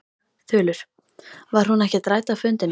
Þulur: Var hún ekkert rædd á fundinum?